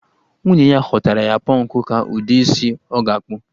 Nwunye ya họọtara ya pọnkụ ka ụdị isi ọ ga-akpụ